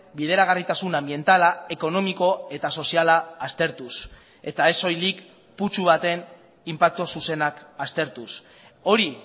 bideragarritasun anbientala ekonomiko eta soziala aztertuz eta ez soilik putzu baten inpaktu zuzenak aztertuz hori